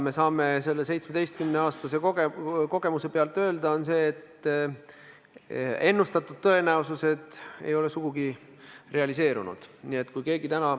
Me saame selle 17 aasta pikkuse kogemuse pealt öelda, et ennustatud tõenäosused ei ole sugugi realiseerunud.